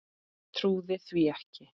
Trúði því ekki.